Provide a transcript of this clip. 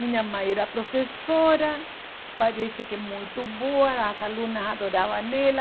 Minha mãe era professora, parece que muito boa, as alunas adoravam ela.